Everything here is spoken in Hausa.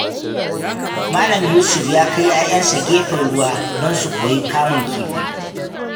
Malam Yusuf ya kai ‘ya’yansa gefen ruwa don su koyi kamun kifi.